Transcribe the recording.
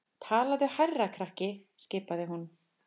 Talaðu hærra krakki skipaði hún.